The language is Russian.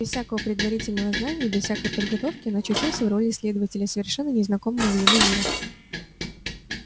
без всякого предварительного знания без всякой подготовки он очутился в роли исследователя совершенно незнакомого ему мира